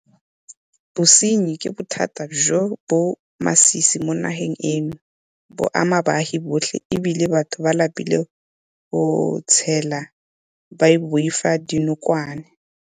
Bosenyi ke bothata jo bo masisi mo nageng eno. Bo ama baagi botlhe e bile batho ba lapile go tshela ba boifa dinokwane.